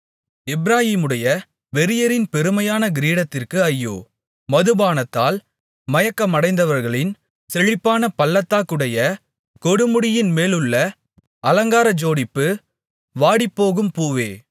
எப்பிராயீமுடைய வெறியரின் பெருமையான கிரீடத்திற்கு ஐயோ மதுபானத்தால் மயக்கமடைந்தவர்களின் செழிப்பான பள்ளத்தாக்குடைய கொடுமுடியின்மேலுள்ள அலங்கார ஜோடிப்பு வாடிப்போகும் பூவே